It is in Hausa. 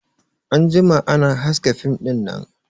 An jima ana haska fim dinnan